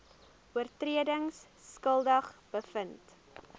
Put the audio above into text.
oortredings skuldig bevind